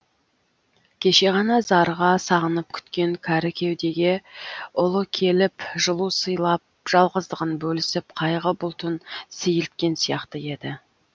кеше ғана зарыға сағынып күткен кәрі кеудеге ұлы келіп жылу сыйлап жалғыздығын бөлісіп қайғы бұлтын сейілткен сияқты еді